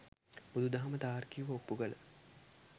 බුදු දහම තාර්කිකව ඔප්පු කළ